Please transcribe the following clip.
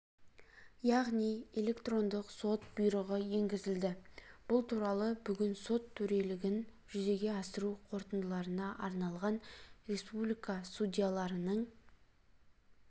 яғни электрондық сот бұйрығы енгізілді бұл туралы бүгін сот төрелігін жүзеге асыру қорытындыларына арналған республика судьяларының